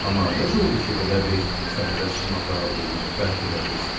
Amma necə oldu ki, belə bir səfərə çıxmağa qət elədiniz?